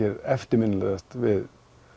er eftirminnilegast við